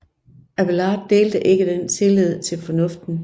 Abélard delte ikke den tillid til fornuften